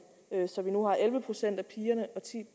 så vi nu har elleve procent af pigerne og ti